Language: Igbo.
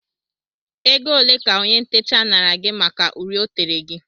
Oge ole ka ónyé ntecha naara gị màkà uri o tere gị?